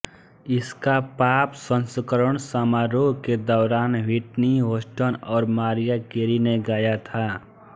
इसका पॉप संस्करण समारोह के दौरान व्हिटनी होस्टन और मारिया केरी ने गाया था